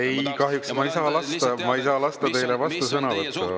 Ei, kahjuks ma ei saa anda teile vastusõnavõttu.